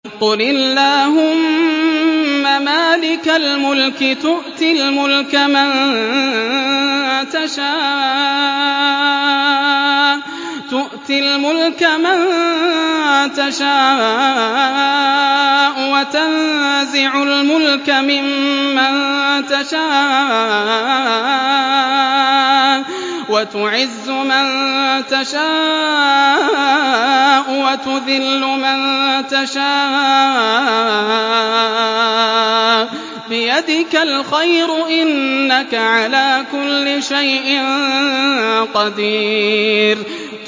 قُلِ اللَّهُمَّ مَالِكَ الْمُلْكِ تُؤْتِي الْمُلْكَ مَن تَشَاءُ وَتَنزِعُ الْمُلْكَ مِمَّن تَشَاءُ وَتُعِزُّ مَن تَشَاءُ وَتُذِلُّ مَن تَشَاءُ ۖ بِيَدِكَ الْخَيْرُ ۖ إِنَّكَ عَلَىٰ كُلِّ شَيْءٍ قَدِيرٌ